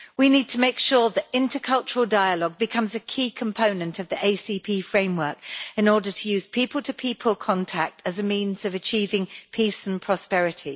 We need to make sure that intercultural dialogue becomes a key component of the ACP framework in order to use people to people contact as a means of achieving peace and prosperity.